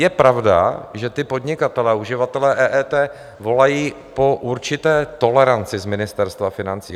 Je pravda, že ti podnikatelé a uživatelé EET volají po určité toleranci z Ministerstva financí.